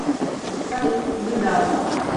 салют нью даун